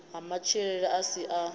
ha matshilele a si a